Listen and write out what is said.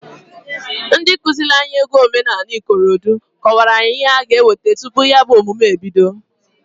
Ndi kụzịlị anyị egwu omenanị ikorodo kọwara anyị ihe anyị ga-eweta tupu ya bụ ọmụmụ ebido.